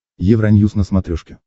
евроньюс на смотрешке